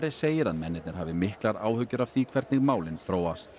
segir að mennirnir hafi miklar áhyggjur af því hvernig málin þróast